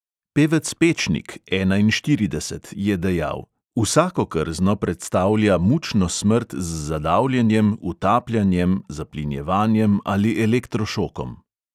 Pevec pečnik, enainštirideset, je dejal: "vsako krzno predstavlja mučno smrt z zadavljenjem, utapljanjem, zaplinjevanjem ali elektrošokom."